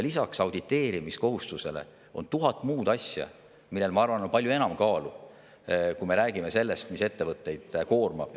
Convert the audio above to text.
Lisaks auditeerimiskohustusele on tuhat muud asja, millel on palju enam kaalu, kui me räägime sellest, mis ettevõtteid koormab.